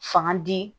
Fanga di